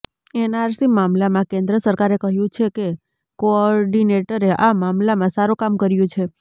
NRC મામલામાં કેન્દ્ર સરકારે કહ્યું છે કે કોઓર્ડિનેટરે આ મામલામાં સારું કામ કર્યું છે